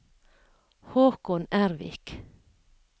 Håkon Ervik